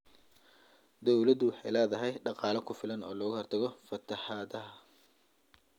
Dawladdu waxay la�dahay dhaqaale ku filan oo looga hortago fatahaadaha.